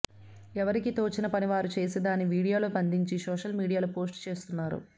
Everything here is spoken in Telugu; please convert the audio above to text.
ఎవరికీ తోచిన పని వారు చేసి దాని వీడియోలో బందించి సోషల్ మీడియాలో పోస్ట్ చేస్తున్నారు